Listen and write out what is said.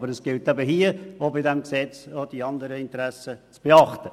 Aber auch bei diesem Gesetz gilt es, auch die anderen Interessen zu beachten.